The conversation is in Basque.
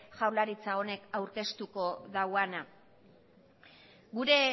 jaurlaritza honek aurkeztuko dauana gure